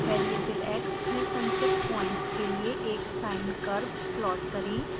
variable x में संचित points के लिए एक sine curve प्लॉट करें